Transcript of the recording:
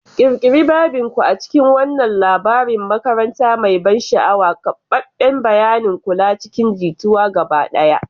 Ƙirƙiri babin ku a cikin wannan labarin makaranta mai ban sha'awa, keɓaɓɓen bayanin kula cikin jituwa gaba ɗaya.